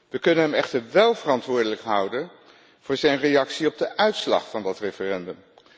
We kunnen hem echter wel verantwoordelijk houden voor zijn reactie op de uitslag van dat referendum.